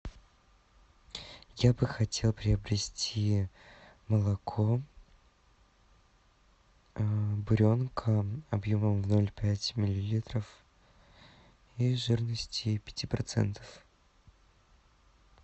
я бы хотел приобрести молоко буренка объемом ноль пять миллилитров и жирности пяти процентов